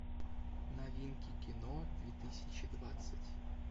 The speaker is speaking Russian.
новинки кино две тысячи двадцать